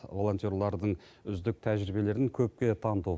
волонтерлардың үздік тәжірибелерін көпке таныту